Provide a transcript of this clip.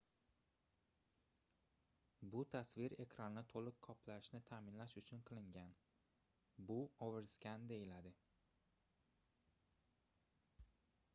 bu tasvir ekranni toʻliq qoplashini taʼminlash uchun qilingan bu overskan deyiladi